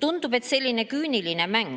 Tundub, et selline küüniline mäng